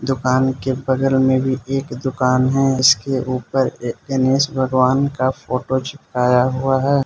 दुकान के बगल में भी एक दुकान है इसके ऊपर गणेश भगवान का फोटो चिपकाया हुआ है।